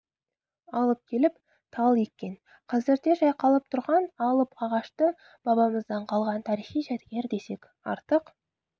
алып келіп тал еккен қазірде жайқалып тұрған алып ағашты бабамыздан қалған тарихи жәдігер десек артық